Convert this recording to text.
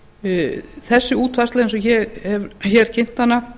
þessi útfærsla eins og ég hef hér kynnt hana